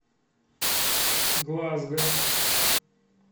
глазго